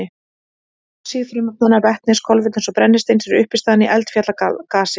Oxíð frumefnanna vetnis, kolefnis og brennisteins eru uppistaðan í eldfjallagasi.